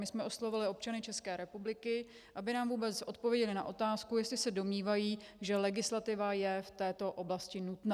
My jsme oslovili občany České republiky, aby nám vůbec odpověděli na otázku, jestli se domnívají, že legislativa je v této oblasti nutná.